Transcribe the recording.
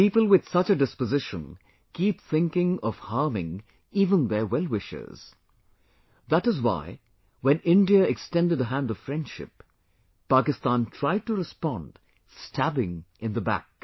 People with such a disposition keep thinking of harming even their wellwishers... that is why when India extended a hand of friendship, Pakistan tried to respond, stabbing in the back